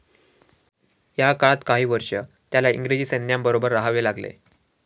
या काळात काही वर्षे त्याला इंग्रजी सैन्याबरोबर राहावे लागले.